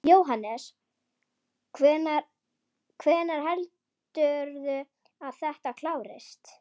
Jóhannes: Hvenær heldurðu að þetta klárist?